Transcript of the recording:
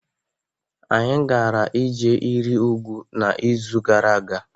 anyị gara ije iri ugwu n'izu gara aga